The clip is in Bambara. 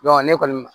ne kɔni